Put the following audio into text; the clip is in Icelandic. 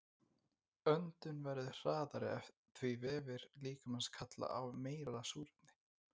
Öndun verður hraðari því vefir líkamans kalla á meira súrefni.